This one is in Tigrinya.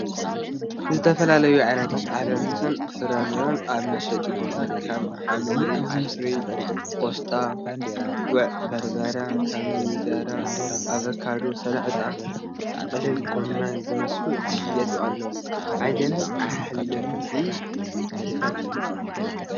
ዝተፈላለዮ ዓይነታት አሕምልትን ፍረምረ አብ መሸጢ ቦታ ከም ሐምሊአድሪ ፣ ቆሰጣ ፣ጉዕ በርበረ፣ ኮሚደረ ፣አበካዶ፣ ሰላጣ ፣ጥቅልል ጎመን ዝመሰሉ ዝሸየጡ አለው ። አየናይ አሕምልቲ ትፈትው ?